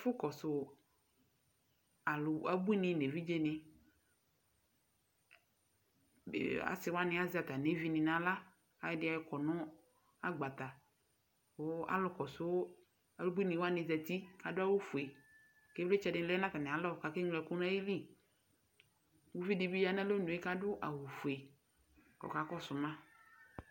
ɛfu kɔsu alò abuini n'evidze ni asi wani azɛ atami evi ni n'ala k'ayɔ ɛdi ɔkɔ no agbata kò alò kɔsu abuini wani zati k'adu awu fue k'ivlitsɛ di lɛ n'atami alɔ k'ake ŋlo ɛkò n'ayili uvi di bi ya n'alɔ nue k'adu awu fue k'ɔka kɔsu ma.